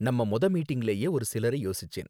நம்ம மொத மீட்டிங்லயே ஒரு சிலரை யோசிச்சேன்.